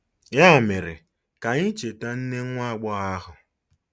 Ya mere, ka anyị cheta nne nwa agbọghọ ahụ.